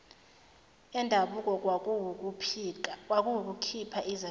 endabuko kwakuwukukhipha izaziso